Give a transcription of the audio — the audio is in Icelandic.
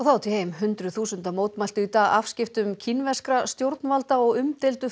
hundruð þúsunda mótmæltu í dag afskiptum kínverskra stjórnvalda og umdeildu